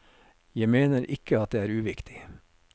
Jeg mener ikke at det er uviktig.